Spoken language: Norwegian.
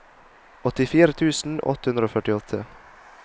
åttifire tusen åtte hundre og førtiåtte